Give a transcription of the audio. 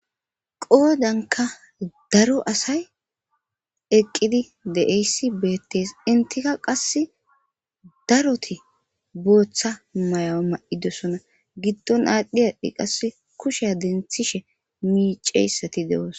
Qoodanka daro asay eqqidi deeyssi beettes intika qass daroti booththa may'o ma'idosona giddon aadhdhi adhi qas kusheya denthishe miiceyssati de'oos.